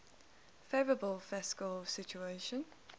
favourable fiscal situation